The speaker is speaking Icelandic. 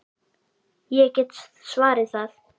Ég get svarið það!